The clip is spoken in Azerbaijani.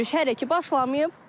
Yürüş hələ ki başlamayıb.